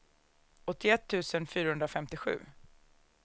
åttioett tusen fyrahundrafemtiosju